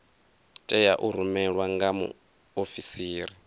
tea u rumelwa nga muofisiri